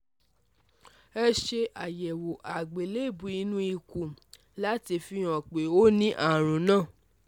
Ẹ ṣe àyẹ̀wò àgbélébùú inú ikun láti fi hàn pé ó ní àrùn náà